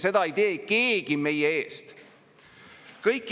Küll aga tsiteerin siin Eesti Panka, kes ütles väga selgelt välja ammu tuntud tõe hiljuti ...